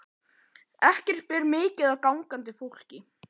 Ekki ber mikið á gangandi fólki.